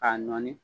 K'a nɔɔni